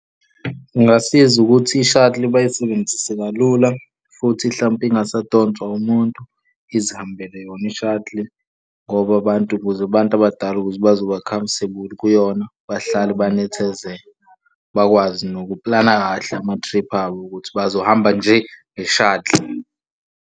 Kungasiza ukuthi i-shuttle bayisebenzise kalula futhi hlampe ingasadonswa umuntu izihambele yona i-shuttle ngoba abantu, ukuze abantu abadala ukuze bazoba comfortable kuyona. Bahlale benethezeke, bakwazi nokuplana kahle ama-trip abo ukuthi bazohamba nje nge-shuttle.